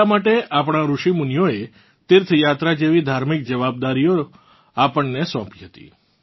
એટલાં માટે આપણાં ત્રુષિ મુનીઓએ તીર્થયાત્રા જેવી ધાર્મિક જવાબદારીઓ આપણને સોંપી હતી